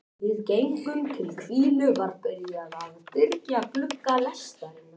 Blæjur: Val kvenna eða kúgun þeirra?